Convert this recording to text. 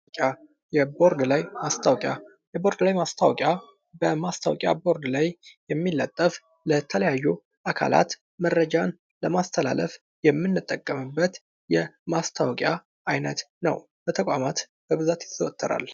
የቦርድ ላይ ማስታወቂያ በማስታወቂያ ቦርድ ላይ የሚለጠፉ ለተለያዩ አካላት መረጃን ለማስተላለፍ የምንጠቀምበት የማስታወቂያ አይነት ነው። በተቋማት በብዛት ይዘወተራል።